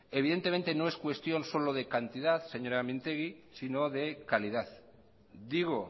evidentemente no es cuestión solo de cantidad señora mintegi sino de calidad digo